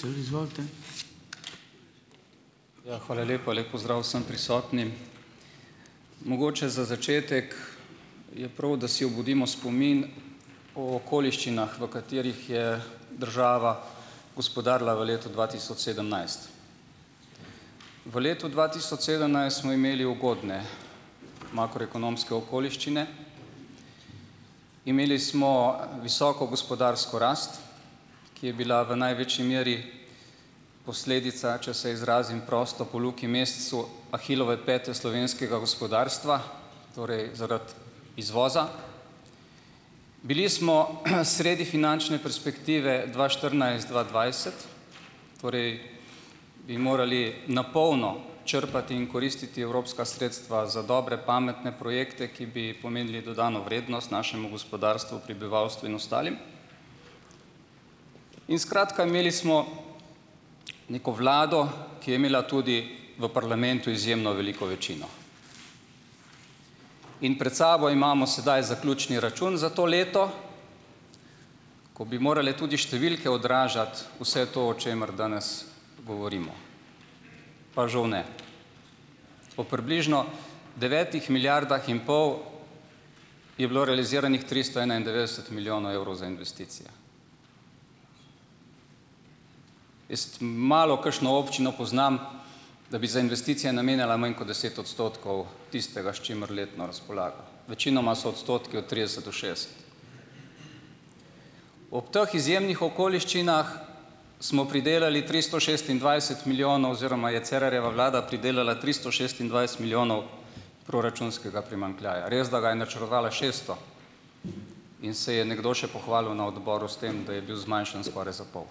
Izvolite. Ja. Hvala lepa. Lep pozdrav vsem prisotnim! Mogoče za začetek je prav, da si obudimo spomin o okoliščinah, v katerih je država gospodarila v letu dva tisoč sedemnajst. V letu dva tisoč sedemnajst smo imeli ugodne makroekonomske okoliščine. Imeli smo visoko gospodarsko rast, ki je bila v največji meri posledica, če se izrazim prosto po Luki Mesecu, Ahilove pete slovenskega gospodarstva torej, zaradi izvoza. Bili smo, sredi finančne perspektive dva štirinajst-dva dvajset, torej bi morali na polno črpati in koristiti evropska sredstva za dobre, pametne projekte, ki bi pomenili dodano vrednost našemu gospodarstvu, prebivalstvu in ostalim. In skratka, imeli smo neko vlado, ki je imela tudi v parlamentu izjemno veliko večino. In pred sabo imamo sedaj zaključni račun za to leto, ko bi morale tudi številke odražati vse to, o čemer danes govorimo, pa žal ne. O približno devetih milijardah in pol je bilo realiziranih tristo enaindevetdeset milijonov evrov za investicije. Jaz malokakšno občino poznam, da bi za investicije namenjala manj kot deset odstotkov tistega, s čimer letno razpolaga. Večinoma so odstotki od trideset do šestdeset. Ob teh izjemnih okoliščinah smo pridelali tristo šestindvajset milijonov oziroma je Cerarjeva vlada pridelala tristo šestindvajset milijonov proračunskega primanjkljaja. Res, da ga je načrtovala šeststo in se je nekdo še pohvalil na odboru s tem, da je bil zmanjšan skoraj za pol.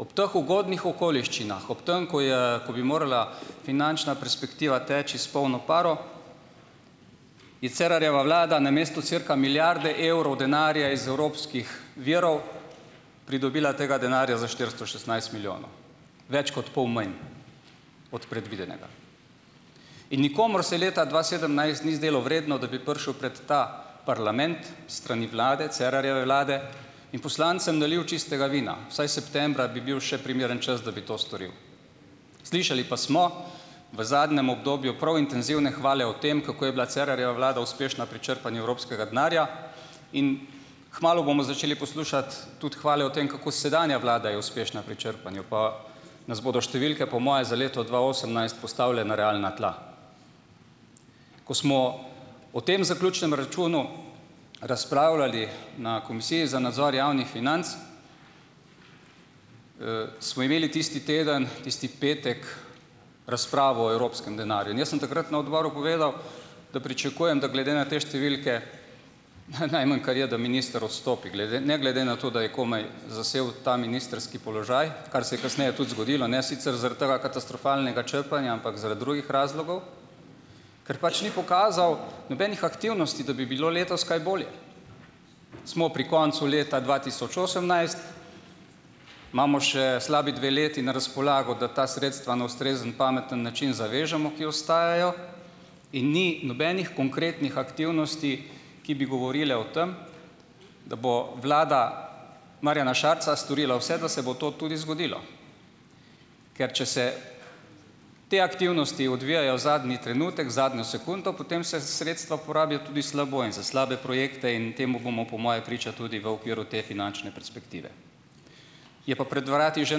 Ob teh ugodnih okoliščinah, ob tem, ko je, ko bi morala finančna perspektiva teči s polno paro, je Cerarjeva vlada namesto cirka milijarde evrov denarja iz evropskih virov pridobila tega denarja za štiristo šestnajst milijonov. Več kot pol manj od predvidenega. In nikomur se leta dva sedemnajst ni zdelo vredno, da bi prišel pred ta parlament, s strani vlade, Cerarjeve vlade, in poslancem nalil čistega vina. Vsaj septembra bi bil še primeren čas, da bi to storil. Slišali pa smo, v zadnjem obdobju, prav intenzivne hvale o tem, kako je bila Cerarjeva vlada uspešna pri črpanju evropskega denarja in kmalu bomo začeli poslušati tudi hvale o tem, kako sedanja vlada je uspešna pri črpanju, pa nas bodo številke, po moje, za leto dva osemnajst postavile na realna tla. Ko smo o tem zaključnem računu razpravljali na komisiji za nadzor javnih financ, smo imeli tisti teden, tisti petek razpravo o evropskem denarju. In jaz sem takrat na odboru povedal, da pričakujem, da glede na te številke, najmanj, kar je, da minister odstopi, glede na, glede na to, da je komaj zasedel ta ministrski položaj, kar se je kasneje tudi zgodilo. Ne sicer zaradi tega katastrofalnega črpanja, ampak zaradi drugih razlogov, ker pač ni pokazal nobenih aktivnosti, da bi bilo letos kaj bolje. Smo pri koncu leta dva tisoč osemnajst. Imamo še slabi dve leti na razpolago, da ta sredstva na ustrezen, pameten način zavežemo, ki ostajajo, in ni nobenih konkretnih aktivnosti, ki bi govorile o tam, da bo vlada Marjana Šarca storila vse, da se bo to tudi zgodilo. Ker če se te aktivnosti odvijajo zadnji trenutek, zadnjo sekundo, potem se sredstva porabijo tudi slabo in za slabe projekte in temu bomo po moje priča tudi v okviru te finančne perspektive. Je pa pred vrati že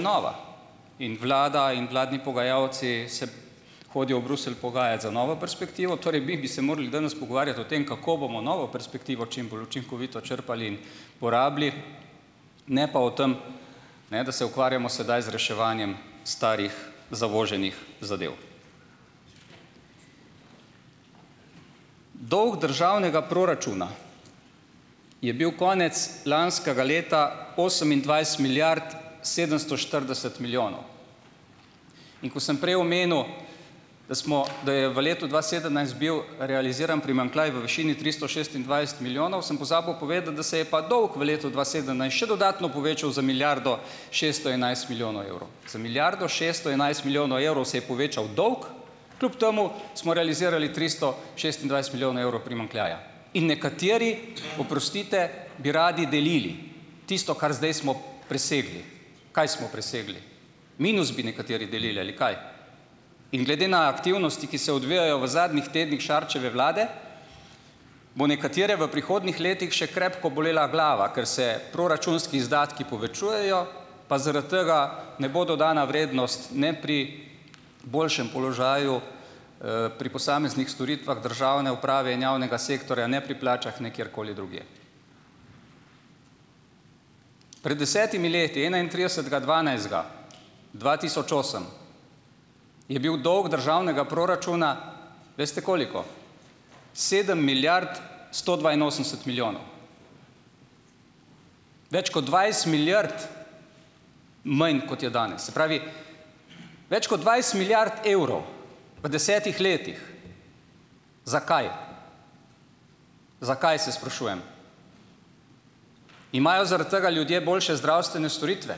nova in vlada in vladni pogajalci se hodijo v Bruselj pogajat za novo perspektivo, torej, bi bi se morali danes pogovarjati o tem, kako bomo novo perspektivo čim bolj učinkovito črpali, porabili, ne pa o tem, da se ukvarjamo sedaj z reševanjem starih zavoženih zadev. Dolg državnega proračuna je bil konec lanskega leta osemindvajset milijard sedemsto štirideset milijonov. In ko sem prej omenil, da smo, da je v letu dva sedemnajst bil realiziran primanjkljaj v višini tristo šestindvajset milijonov, sem pozabil povedati, da se je pa dolg v dva sedemnajst še dodatno povečal za milijardo šeststo enajst milijonov evrov. Za milijardo šeststo enajst milijonov evrov se je povečal dolg, kljub temu smo realizirali tristo šestindvajset milijonov evrov primanjkljaja. In nekateri, oprostite, bi radi delili, tisto, kar zdaj smo presegli. Kaj smo presegli? Minus bi nekateri delili, ali kaj? In glede na aktivnosti, ki se odvijajo v zadnjih tednih Šarčeve vlade, bo nekatere v prihodnjih letih še krepko bolela glava, ker se proračunski izdatki povečujejo, pa zaradi tega ne bo dodana vrednost, ne pri boljšem položaju, pri posameznih storitvah državne uprave in javnega sektorja, ne pri plačah, ne kjerkoli drugje. Pred desetimi leti, enaintridesetega dvanajstega dva tisoč osem, je bil dolg državnega proračuna, veste koliko? sedem milijard sto dvainosemdeset milijonov. Več kot dvajset milijard manj, kot je danes. Se pravi, več kot dvajset milijard evrov v desetih letih. Za kaj? Za kaj, se sprašujem? Imajo zaradi tega ljudje boljše zdravstvene storitve?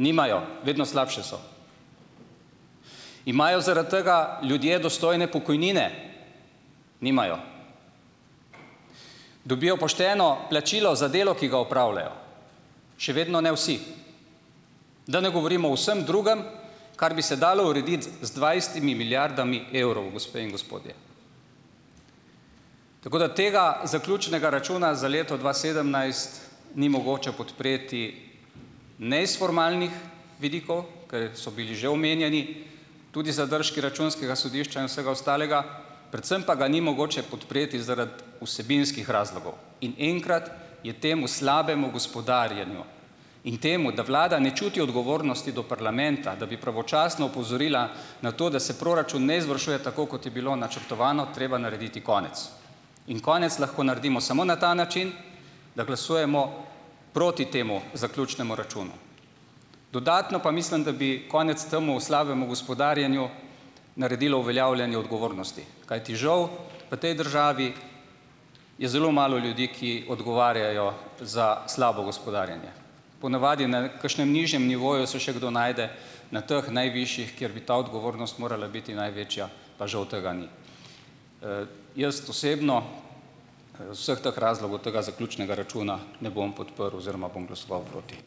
Nimajo, vedno slabše so. Imajo zaradi tega ljudje dostojne pokojnine? Nimajo. Dobijo pošteno plačilo za delo, ki ga opravljajo? Še vedno ne vsi. Da ne govorimo o vsem drugem, kar bi se dalo urediti z dvajsetimi milijardami evrov, gospe in gospodje. Tako da tega zaključnega računa za leto dva sedemnajst ni mogoče podpreti ne iz formalnih vidikov, ker so bili že omenjeni, tudi zadržki računskega sodišča in vsega ostalega, predvsem pa ga ni mogoče podpreti zaradi vsebinskih razlogov in enkrat je temu slabemu gospodarjenju in temu, da vlada ne čuti odgovornosti do parlamenta, da bi pravočasno opozorila na to, da se proračun ne izvršuje tako, kot je bilo načrtovano, treba narediti konec. In konec lahko naredimo samo na ta način, da glasujemo proti temu zaključnemu računu. Dodatno pa mislim, da bi konec temu slabemu gospodarjenju naredilo uveljavljanje odgovornosti, kajti žal v tej državi je zelo malo ljudi, ki odgovarjajo za slabo gospodarjenje. Ponavadi na kakšnem nižjem nivoju se še kdo najde. Na teh najvišjih, kjer bi ta odgovornost morala biti največja, pa žal tega ni. Jaz osebno vseh teh razlogov tega zaključnega računa ne bom podprl oziroma bom glasoval proti.